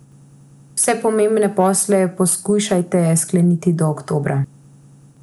Vse pomembne posle poskušajte skleniti do oktobra.